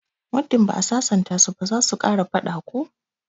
Muddin ba'a sasanta su ba zasu kara fada ko?